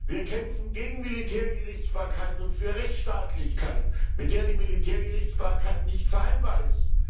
Wir kämpfen gegen Militärgerichtsbarkeit und für Rechtstaatlichkeit, mit der die Militärgerichtsbarkeit nicht vereinbar ist.